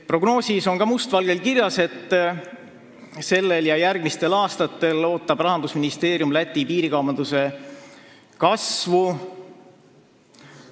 Prognoosis on ka must valgel kirjas, et sellel aastal ja järgmistel aastatel ootab Rahandusministeerium Eesti-Läti piirikaubanduse kasvu.